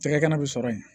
Cɛkɛ kɛnɛ bɛ sɔrɔ yen